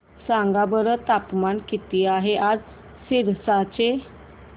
सांगा बरं तापमान किती आहे आज सिरसा चे